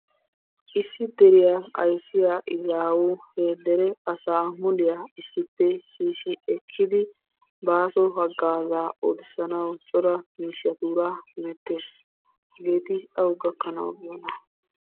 Issi deriyaa ayssiya izzawu he dere asaa muliyaa issippe shiishi ekkidi baaso hagaazaa oottissanawu cora miishshatuura hemettees. Hageeti awu gakkanawu biyyoona?